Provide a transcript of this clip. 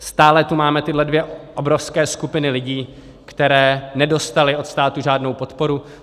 Stále tu máme tyhle dvě obrovské skupiny lidí, které nedostaly od státu žádnou podporu.